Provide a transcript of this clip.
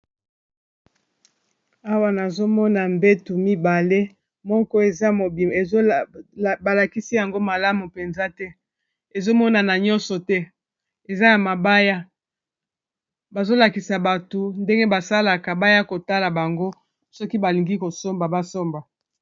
Awa nazomona mbetu mibale, moko eza mobima balakisi yango malamu mpenza te ezomonana nyonso te eza ya mabaya bazolakisa bato ndenge basalaka baya kotala bango soki balingi kosomba basomba.